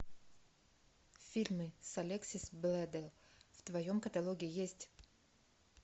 фильмы с алексис бледел в твоем каталоге есть